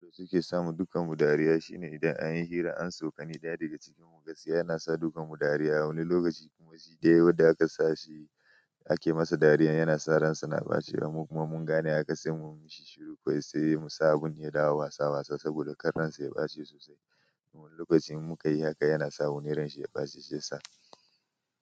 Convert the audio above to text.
Yanda suke samu dukan mu dariya shine idan anyi hira an tsokani ɗaya daga cikin mu gaskiya yana sa dukan mu dariya. Wani lokaci kuma shi dai wanda da aka sa shi ake masa dariya yana sa ransa na ɓaci kuma mun gane haka sai mu mishi shiru ko ya sayi sabon hira wasa wasa saboda kan ransa ya ɓace sosai. Wani lokacin in mukayi haka yana sa wuni ranshi ya ɓaci shi yasa.